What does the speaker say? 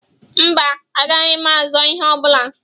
Mba, agaghị m azọọ ihe ọ bụla.